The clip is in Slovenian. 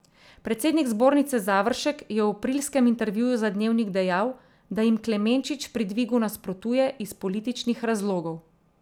Predsednik zbornice Završek je v aprilskem intervjuju za Dnevnik dejal, da jim Klemenčič pri dvigu nasprotuje iz političnih razlogov.